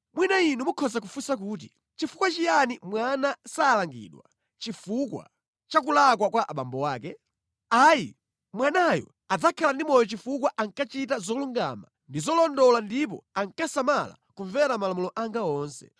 “Mwina inu mukhoza kufunsa kuti, ‘Nʼchifukwa chiyani mwana salangidwa chifukwa cha kulakwa kwa abambo ake? Ayi, mwanayo adzakhala ndi moyo chifukwa ankachita zolungama ndi zolondola ndipo ankasamala kumvera malamulo anga onse.